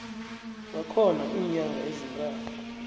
bakhona iinyanga ezintathu